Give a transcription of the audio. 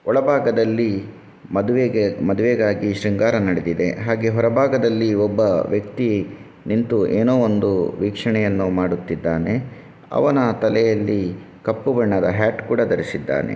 ಒಳ ಭಾಗದಲ್ಲಿ ಮದುವೆಗೆ ಮದುವೆಗಾಗಿ ಶೃಂಗಾರ ನಡೆದಿದೆ ಹಾಗೆ ಹೂರ ಭಾಗದಲ್ಲಿ ಒಬ್ಬ ವ್ಯಕ್ತಿ ನಿಂತು ಏನು ಒಂದು ವೀಕ್ಷಣೆಯನು ಮಾಡುತ್ತಿದ್ದಾನೆ. ಅವನ ತಲೆಯಲ್ಲಿ ಕಪ್ಪು ಬಣ್ಣದ ಹ್ಯಾಟ್ ಕೂಡ ಧರಿಸಿದ್ದಾನೆ.